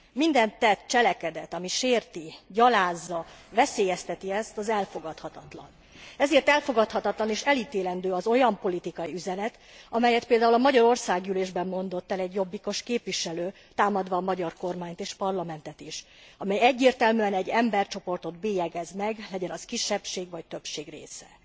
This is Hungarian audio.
Minden tett, cselekedet, ami sérti, gyalázza, veszélyezteti ezt, az elfogadhatatlan. Ezért elfogadhatatlan és elítélendő az olyan politikai üzenet, amelyet például a magyar országgyűlésben mondott el egy jobbikos képviselő támadva a magyar kormányt és a parlamentet is, amely egyértelműen egy embercsoportot bélyegez meg, legyen az kisebbség vagy többség része.